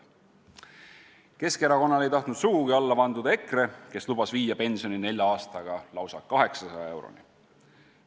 Keskerakonnale ei tahtnud sugugi alla vanduda EKRE, kes lubas viia pensioni nelja aastaga lausa 800 euroni.